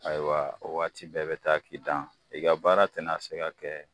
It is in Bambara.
Ayiwa o waati bɛɛ be taa k'i dan ,i ka baara tɛ na se ka kɛ